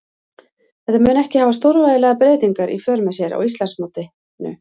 Þetta mun ekki hafa stórvægilegar breytingar í för með sér á Íslandsmótinu.